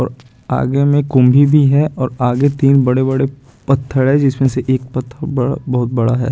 और आगे में कुंढी भी है और आगे तीन बड़े-बड़े पत्थड़ है जिसमें से एक पत्थड़ बड़ा बहुत बड़ा है।